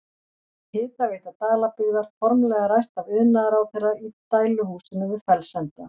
Hitaveita Dalabyggðar formlega ræst af iðnaðarráðherra í dæluhúsinu við Fellsenda.